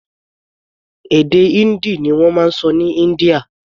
Èdè Hindi ni wọ́n sọ ní India.